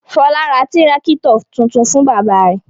Fọlá ra tírákítọ̀ tuntun fún bàbá rẹ̀.